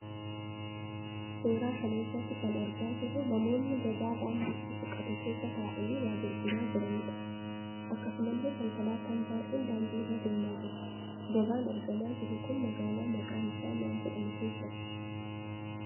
Suuraa kana irraa kan argaa jirruu namoonni gabaa daandiitti siqatu keessa ta'aanii waa gurguraa jiraniidha. Akkasumallee konkolaataan baay'een daandii irra deemaa jiru. Gabaan argamaa jiru kun magaalaa maqaan isaa maal jedhamu keessatti?